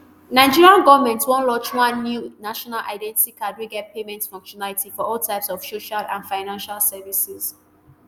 nigeria goment wan launch one new national identity card wey get payment functionality for all types of social and financial services